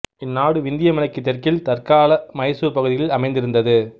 இந்நாடு விந்திய மலைக்கு தெற்கில் தற்கால மைசூர் பகுதிகளில் அமைந்திருந்தது